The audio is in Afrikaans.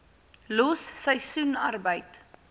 los seisoensarbeid